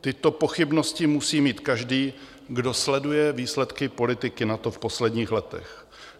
Tyto pochybnosti musí mít každý, kdo sleduje výsledky politiky NATO v posledních letech.